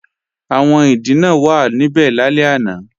Àwọn ìdìnà wàá níbẹ̀ lálẹ́ àná